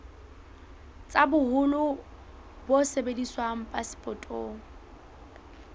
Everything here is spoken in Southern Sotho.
tsa boholo bo sebediswang phasepotong